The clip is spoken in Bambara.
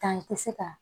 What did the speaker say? Tan i tɛ se ka